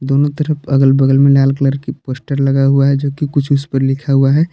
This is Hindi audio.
दोनों तरफ अगल बगल में लाल कलर की पोस्टर लगा हुआ है जो कि कुछ इस पर लिखा हुआ है।